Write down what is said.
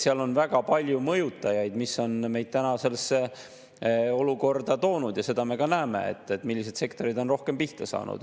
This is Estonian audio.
Seal on väga palju mõjutajaid, mis on meid sellesse olukorda toonud, ja seda me ka näeme, millised sektorid on rohkem pihta saanud.